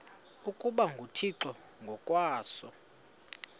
ukuba nguthixo ngokwaso